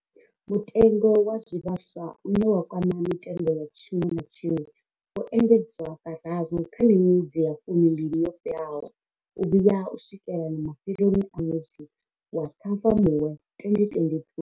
Mutengo wa zwivhaswa, une wa kwama mitengo ya tshiṅwe na tshiṅwe, wo engedzwa kararu kha miṅwedzi ya fumimbili yo fhelaho u vhuya u swikela mafheloni a ṅwedzi wa Ṱhafamuhwe 2022.